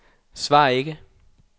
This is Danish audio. svar ikke